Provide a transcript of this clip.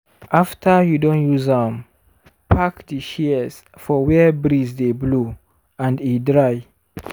after you don use am park di shears for where breeze dey blow and e dry.